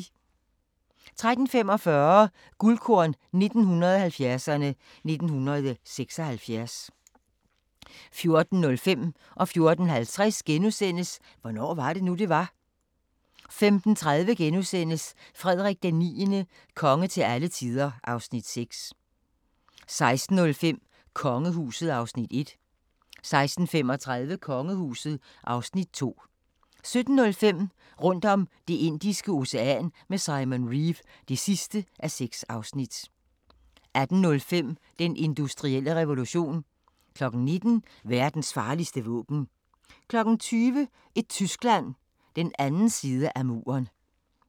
13:45: Guldkorn 1970'erne: 1976 14:05: Hvornår var det nu, det var? * 14:50: Hvornår var det nu, det var? * 15:30: Frederik IX – konge til alle tider (Afs. 6)* 16:05: Kongehuset (Afs. 1) 16:35: Kongehuset (Afs. 2) 17:05: Rundt om Det indiske Ocean med Simon Reeve (6:6) 18:05: Den industrielle revolution 19:00: Verdens farligste våben 20:00: Et Tyskland – den anden side af muren